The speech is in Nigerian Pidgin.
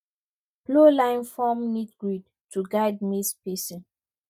plow line form neat grid to guide maize spacing